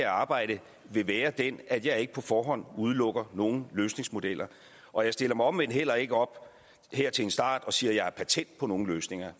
arbejde vil være den at jeg ikke på forhånd udelukker nogen løsningsmodeller og jeg stiller mig omvendt heller ikke op her til en start og siger at jeg har patent på nogen løsninger